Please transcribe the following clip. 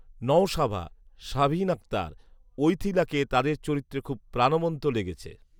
নওশাবা, শাহীন আকতার, ঈথিলাকে তাদের চরিত্রে খুব প্রাণবন্ত লেগেছে